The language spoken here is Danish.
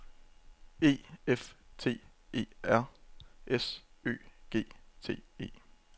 E F T E R S Ø G T E